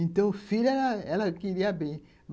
Então, o filho ela ela queria bem.